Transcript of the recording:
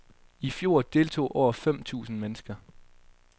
I fjor deltog over fem tusind mennesker.